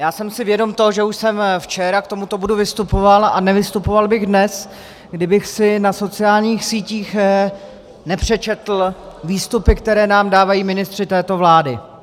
Já jsem si vědom toho, že už jsem včera k tomuto bodu vystupoval, a nevystupoval bych dnes, kdybych si na sociálních sítích nepřečetl výstupy, které nám dávají ministři této vlády...